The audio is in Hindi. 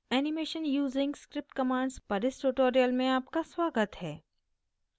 animation using script commands पर इस tutorial में आपका स्वागत है